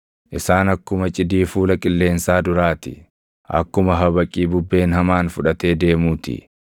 Isaan akkuma cidii fuula qilleensaa duraa ti; akkuma habaqii bubbeen hamaan fudhatee deemuu ti.